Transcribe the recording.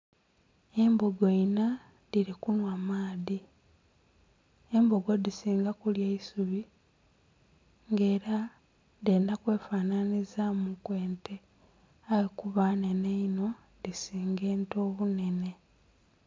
Embbogo inna dhiri kunhwa amaadhi, embbogo dhisinga kulya isubi nga era dhendha kwe fananhiliza mu ku ente eya kuba nnenhe inho dhisinga ente obunene.